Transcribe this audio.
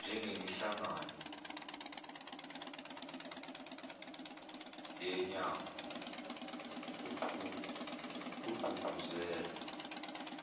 njengemihlangano yenyanga kugqugquzelwa